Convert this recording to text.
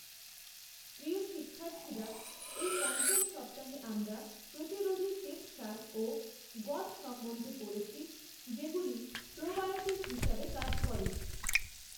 প্রিয় শিক্ষার্থীরা এই পঞ্চম সপ্তাহে আমরা প্রতিরোধী শ্বেতসার ও গঁদ সম্বন্ধে পড়েছি যেগুলি প্রোবায়োটিক হিসাবে কাজ করে।